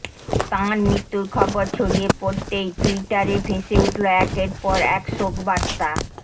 তাঁর মৃত্যুর খবর ছড়িয়ে পড়তেই ট্যুইটারে ভেসে উঠল একের পর এক শোকবার্তা